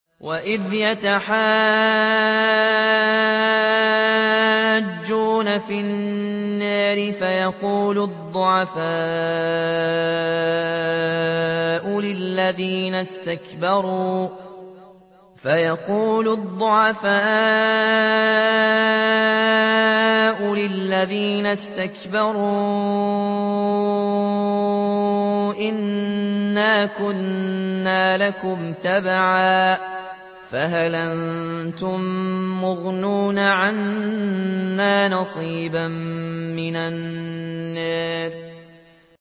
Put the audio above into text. وَإِذْ يَتَحَاجُّونَ فِي النَّارِ فَيَقُولُ الضُّعَفَاءُ لِلَّذِينَ اسْتَكْبَرُوا إِنَّا كُنَّا لَكُمْ تَبَعًا فَهَلْ أَنتُم مُّغْنُونَ عَنَّا نَصِيبًا مِّنَ النَّارِ